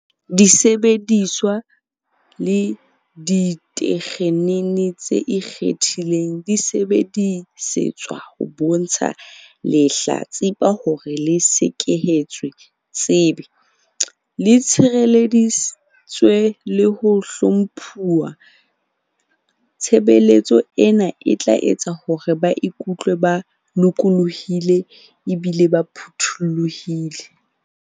Disebediswa le ditekgenini tse ikgethileng di sebedisetswa ho bontsha lehla-tsipa hore le sekehetswe tsebe, le tshirelleditswe le ho hlomphuwa. Tshebeletso ena e tla etsa hore ba ikutlwe ba lokollohile ebile ba phuthollohile.